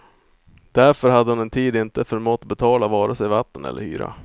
Därför hade hon en tid inte förmått betala vare sig vatten eller hyra.